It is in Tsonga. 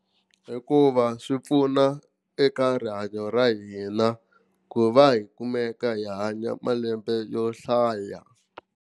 Hikuva swi pfuna eka rihanyo ra hina ku va hi kumeka hi hanya malembe yo hlaya.